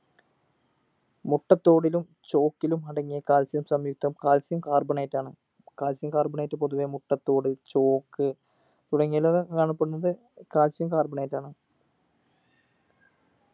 മുട്ടത്തോടിലും chalk ലും അടങ്ങിയ calcium സംയുക്തം calcium carbonate ആണ് calcium carbonate പൊതുവെ മുട്ടത്തോട് chalk തുടങ്ങിയിൽ കാണപ്പെടുന്നത് calcium carbonate ആണ്